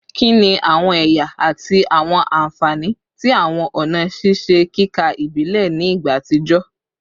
Kini awọn ẹya ati awọn anfani ti awọn ọna ṣiṣe kika ibile ni igba atijọ?